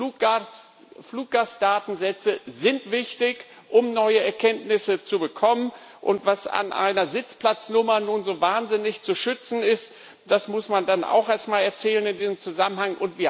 Die Fluggastdatensätze sind wichtig, um neue Erkenntnisse zu bekommen, und was an einer Sitzplatznummer nun so wahnsinnig zu schützen ist, das muss man dann auch erst einmal erzählen in diesem Zusammenhang.